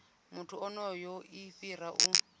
muthu onoyo i fhira u